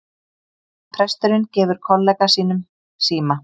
Presturinn gefur kollega sínum síma